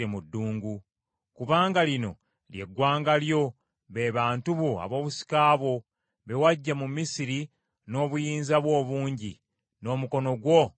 Kubanga lino lye ggwanga lyo, be bantu bo ab’obusika bwo, be waggya mu Misiri n’obuyinza bwo obungi, n’omukono gwo ogw’amaanyi.